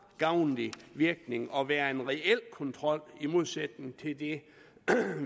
gavnlig virkning og være en reel kontrol i modsætning til det